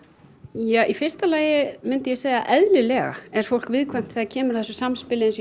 ja í fyrsta lagi myndi ég segja eðlilega er fólk viðkvæmt þegar kemur að þessu samspili